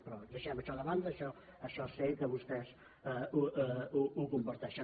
però deixem això de banda això sé que vostè ho comparteixen